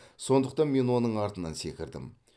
сондықтан мен оның артынан секірдім